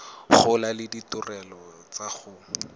gola le ditirelo tsa go